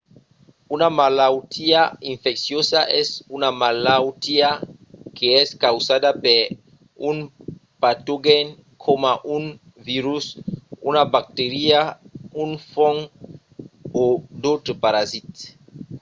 una malautiá infecciosa es una malautiá qu’es causada per un patogèn coma un virus una bacteria un fong o d’autres parasits